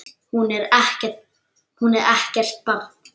Hún er ekkert barn.